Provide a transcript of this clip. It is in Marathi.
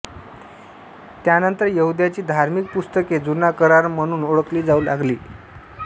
त्यानंतर यहुद्यांची धार्मिक पुस्तके जुना करार म्हणून ओळखली जाऊ लागली